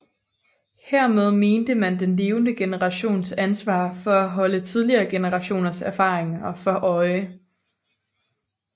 Hermed mente man den levende generations ansvar for at holde tidligere generationers erfaringer for øje